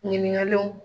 Ɲininkaliw